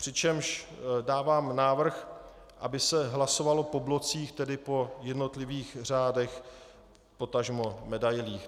Přičemž dávám návrh, aby se hlasovalo po blocích, tedy po jednotlivých řádech, potažmo medailích.